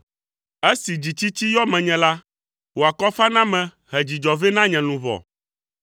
Esi dzitsitsi yɔ menye la, wò akɔfaname he dzidzɔ vɛ na nye luʋɔ.